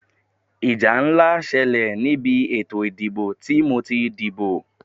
Ìjà ńlá ṣẹlẹ̀ ni ìbí ètò ìdìbò tí mo ti díbó.